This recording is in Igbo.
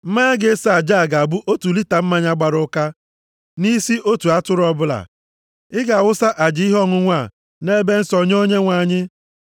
Mmanya ga-eso aja a ga-abụ otu lita mmanya gbara ụka nʼisi otu atụrụ ọbụla, ị ga-awụsa aja ihe ọṅụṅụ a nʼebe nsọ nye Onyenwe anyị.